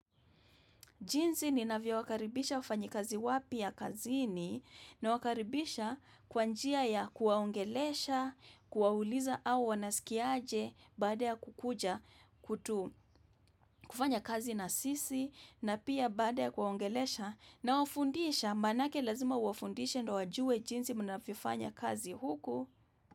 Jinsi ninavyo wakaribisha wafanyakazi wapya kazini na wakaribisha kwanjia ya kuwaongelesha, kuwauliza au wanasikiaje baada ya kukuja kutu kufanya kazi na sisi na pia baada ya kuwaongelesha nawafundisha manake lazima uwafundishe ndo wajue jinsi mnavyo fanya kazi huku.